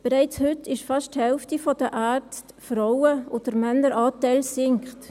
– Bereits heute sind fast die Hälfte der Ärzte Frauen, und der Männeranteil sinkt.